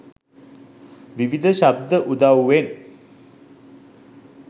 විවිධ ශබ්ද උදව්වෙන්